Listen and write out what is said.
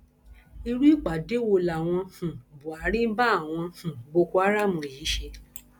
irú ìpàdé wo làwọn um buhari ń bá àwọn um boko haram yìí ṣe